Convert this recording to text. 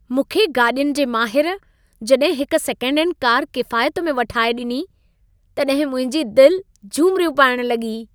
मूंखे गाॾियुनि जे माहिर, जॾहिं हिक सेकेंडहैंड कारि किफ़ायत में वठाए ॾिनी, तॾहिं मुंहिंजी दिलि झुमिरियूं पाइण लॻी।